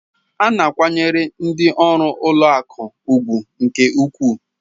A na-akwanyere ndị ọrụ ụlọ akụ ùgwù nke ukwuu.